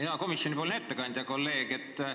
Hea komisjoni ettekandja, kolleeg!